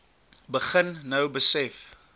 begin nou besef